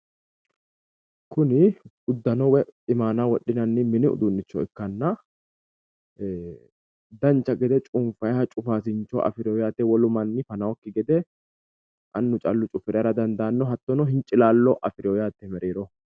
Kuni uddano woyi iimaana wodhinanni mini uduunnicho ikkanna dancha gede cunfayha cufaasincho afirewo yaate wolu manni fanannokki gede annu callu cufire hara dandaanno hattono hincilaallo afirino yaate mereeroho.